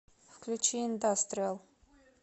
включи индастриал